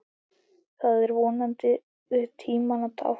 Það er vonandi tímanna tákn.